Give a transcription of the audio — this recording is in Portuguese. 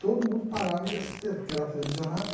Todo mundo parava e assistia, porque era televisionado.